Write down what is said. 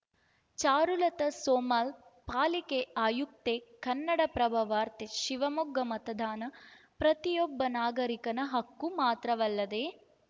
ಚಾರುಲತಾ ಸೋಮಲ್‌ ಪಾಲಿಕೆ ಆಯುಕ್ತೆ ಕನ್ನಡಪ್ರಭ ವಾರ್ತೆ ಶಿವಮೊಗ್ಗ ಮತದಾನ ಪ್ರತಿಯೊಬ್ಬ ನಾಗರಿಕನ ಹಕ್ಕು ಮಾತ್ರವಲ್ಲದೆ